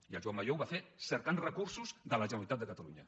i en joan majó ho va fer cercant recursos de la generalitat de catalunya